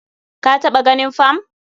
Ka taɓa ganin fam.